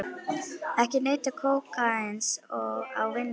Ekki neyta kókaíns á vinnutíma